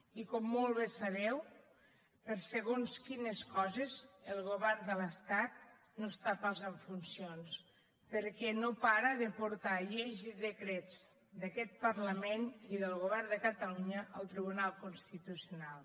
i com molt bé sabeu per a segons quines coses el govern de l’estat no està pas en funcions perquè no para de portar lleis i decrets d’aquest parlament i del govern de catalunya al tribunal constitucional